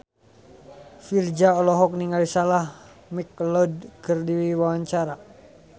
Virzha olohok ningali Sarah McLeod keur diwawancara